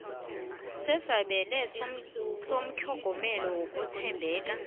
sesabelo setlhogomelo lokuthembela